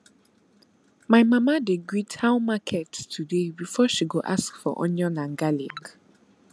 my mama dey greet how market today before she go ask for onion and garlic